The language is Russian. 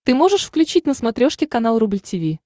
ты можешь включить на смотрешке канал рубль ти ви